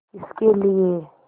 किसके लिए